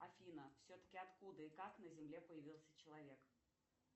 афина все таки откуда и как на земле появился человек